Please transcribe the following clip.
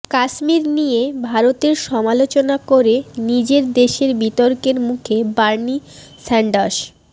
কাশ্মীর নিয়ে ভারতের সমালোচনা করে নিজের দেশেই বিতর্কের মুখে বার্নি স্যান্ডার্স